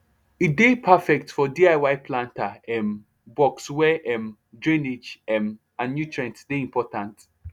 e dey perfect for diy planter um box where um drainage um and nutrient dey important